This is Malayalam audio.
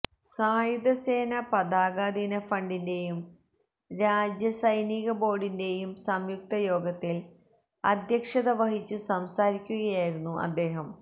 സായുധസേന പതാകദിന ഫണ്ടിന്റെയും രാജ്യ സൈനികബോർഡിന്റെയും സംയുക്തയോഗത്തിൽ അധ്യക്ഷത വഹിച്ചു സംസാരിക്കുകയായിരുന്നു അദ്ദേഹം